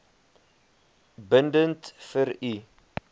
bindend vir u